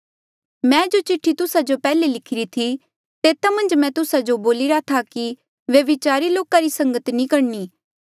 मैं जो चिठ्ठी तुस्सा जो पैहले लिखिरी थी तेता मन्झ मैं तुस्सा जो बोलिरा था कि व्यभिचारी लोका री संगत नी करणी